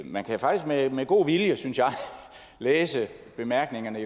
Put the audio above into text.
man kan faktisk med med god vilje synes jeg læse i bemærkningerne